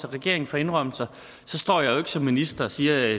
og regeringen får indrømmelser så står jeg jo ikke som minister og siger